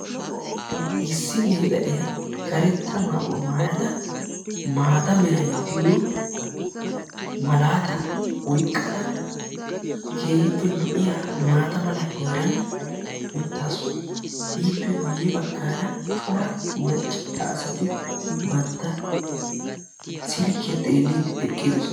Issi gela'iyaa karetta meray diyoo malata oyqqada keehippe lo"iyaa maata mala heeran uttaasu. ippe guyyera cora maccassati bantta silkkiya xeelide eqqidoosona.